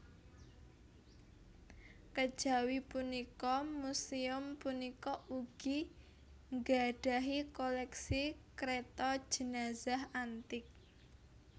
Kejawi punika muséum punika ugi nggadhahi koléksi kereta jenazah antik